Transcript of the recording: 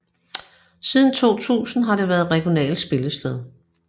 Siden 2000 har det været regionalt spillested